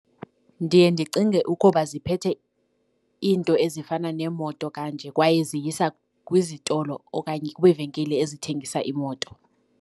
Ndiye ndicinge ukuba ziphethe iinto ezifana neemoto kanje kwaye ziyisa kwizitolo okanye kwiivenkile ezithengisa iimoto